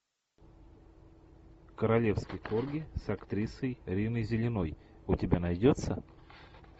королевский корги с актрисой риной зеленой у тебя найдется